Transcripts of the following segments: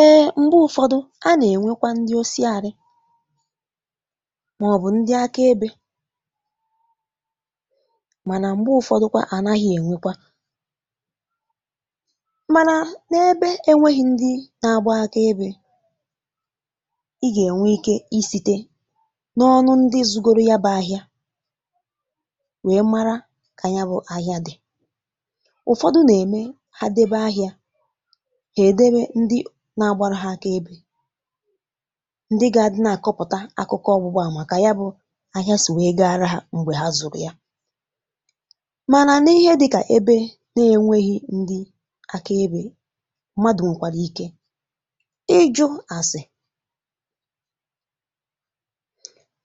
Eėė, m̀gbè ụ̀fọdụ a nà-ènwekwa ndị ọsị àrị màọbụ̀ ndị akà ebè mànà m̀gbè ụ̀fọdụ kwa à nà-aghị ènwekwa mànà n’ebe enweghị ndị nà-agbà akà ebè, í gà-ènwe ike í site n’ọnụ ndị ìzugoro ya bè ahịȧ wèe mara kà ya bụ̇ ahịa dị̀. Ụ̀fọdụ nà-ème ha débià ahịa, ha édobè ndị nà-agbárù ha akà ebè, ndị gà-adị nà-àkọpụ̀tà akụkọ ọgbùgba àmà kà ya bụ̇ ahịa sì wèe gàrà ha m̀gbè ha zụ̀rụ̀ ya. Mànà n’ihè dị̇kà ebe nà-ènweghị̇ ndị akà ebè, mmadụ̀ nwèkwàrà ike ịjụ̇ àsị̀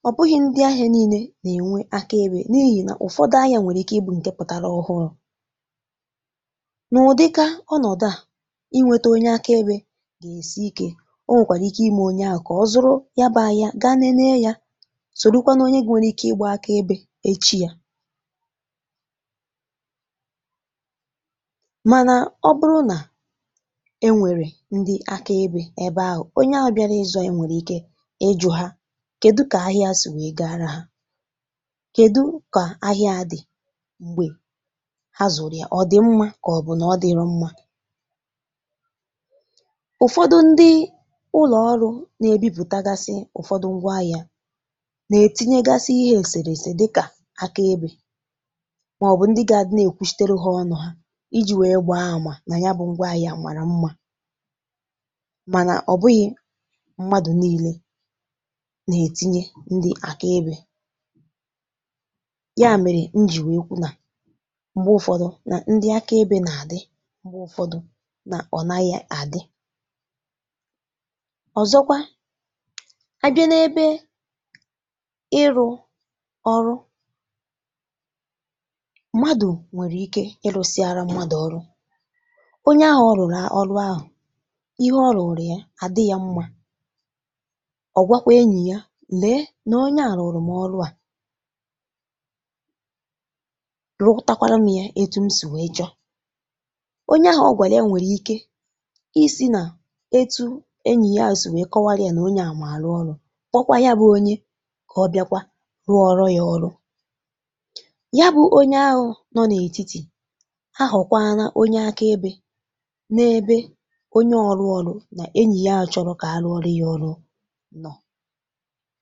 ọ̀ bụghị̇ ndị ahịa niilė nà-ènwe akà ebè n’ihì nà ụ̀fọdụ ahịȧ nwèrè ike ịbụ̇ ǹkè pụ̀tàrà ọhụ̄rụ̄. Nà ụ̀dịka ọnọ̀du à, inwètà onye akà ebè gà-èsi ike o, nwèkwàrà ike imé onye ahụ̀ kà ọ zụ̀rụ̀ ya bụ̇ ahịa gà nènè yà, sọ̀ròkwa n’onye nwẹ̀rẹ̀ ike ịgbà akà ebè echi yà. Mànà ọ bụrụ nà ẹ nwẹ̀rẹ̀ ndị akà ebè ẹbè ahụ̀, onye ahụ bịara ịzọ̇ ya, nwẹ̀rẹ̀ ike ịjọ̇ ha, kèdù kà ahịa sì wèe gàrà ha, kèdù kà ahịa a dị̀ m̀gbè ha zụ̀rụ̀ ya — ọ dị̀ mmȧ kà ọ bụ̀ nà ọ dịrò mmȧ. Ụ̀fọdụ ndị ụlọ̀ ọrụ̇ nà-ebipụ̀tàgàsị ụ̀fọdụ ngwa ahị̇ȧ nà-ètinye gàsị̇ ihe èsèrè èsè dịkà akà ebè màọbụ̀ ndị gà-adị nà-èkwùchitere ha ọnụ̇ ha iji̇ wèe gbaa àmà nà ya bụ̇ ngwa ahị̇ȧ màrà mmȧ. Mànà ọ̀ bụghị̇ mmadụ̀ niilė nà-ètinye ndị akà ebè. Yà mèrè n̄jí wèe kwu nà m̀gbè ụfọdụ nà ndị akà ebè nà-àdị, m̀gbè ụ̀fọdụ nà ọ̀ naghị̇ àdị. Ọ̀zọkwa, abịa n’ebe ịrụ̇ ọrụ, mmadụ̀ nwèrè ike ịlụ̇ sịara mmadụ̀ ọrụ, onye ahụ̇ rụrụ ọrụ ahụ̀, ìhè ọrụ̇ ya àdị yà mmȧ, ọ̀ gwakwara ènỳì ya, “Lèe nà onye a rụrụ m ọrụ a”. Rụtakwara m yà etù m sì wèe chọ. Onye ahụ̀ ọ̀gwàlà ya, nwèrè ike ísì nà etí ènỳì ya sì wèe kọwàlịa nà onye à mà àrụ̇ ọrụ kpọkwa ya bụ̇ onye kà ọ bìakwara ruo ọrụ yà ọrụ. Yà bụ̇ onye ahụ̀ nọ n’ètìtì̀ ahụ̀, kwáànà onye akà ebè n’ebe onye rụrụ ọrụ nà ènye ya chọlù kà àrụ̇ ọrụ yà ọrụ nọ̀.